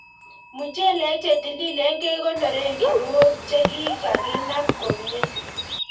Mochelek chetililen kekonoren kinuok chekikakinab komie.